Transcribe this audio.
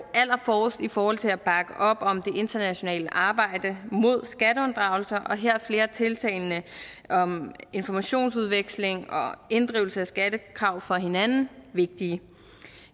allerforrest i forhold til at bakke op om det internationale arbejde mod skatteunddragelse og her er flere af tiltagene om informationsudveksling og inddrivelse af skattekrav fra hinanden vigtige